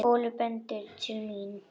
Óli bendir til mín.